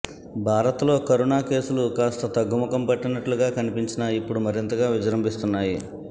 భారత్ లో కరుణ కేసులు కాస్త తగ్గుముఖం పట్టినట్లు గా కనిపించిన ఇప్పుడు మరింతగా విజృంభిస్తున్నాయి